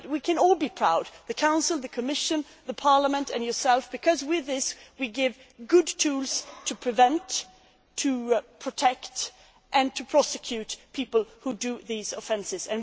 We can all be proud the Council, the Commission, Parliament and yourself, because with this we are providing good tools to prevent, to protect and to prosecute people who commit these offences.